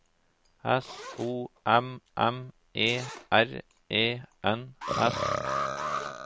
S O M M E R E N S